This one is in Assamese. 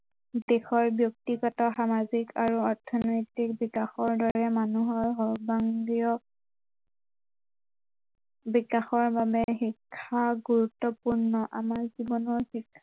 দেশৰ ব্য়ক্তিগত, সামাজিক আৰু অৰ্থনৈতিক বিকাশৰ দৰে মানুহৰ সৰ্বাংগীয় বিকাশৰ বাবে শিক্ষা গুৰুত্ৱপূৰ্ণ